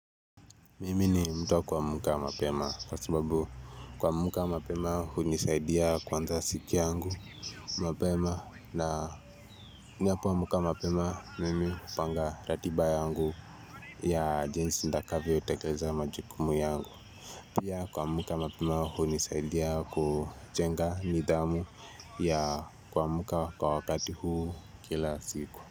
Mimi ni mtu wa kuamka mapema kwa sababu kuamka mapema unisaidia kuanza siku yangu mapema na ninapo amuka mapema mimi upanga ratiba yangu ya jensi ndakavyo tekeleza majukumu yangu Pia kwamuka mapema unisaidia kujenga nidhamu ya kwamuka kwa wakati huu kila siku.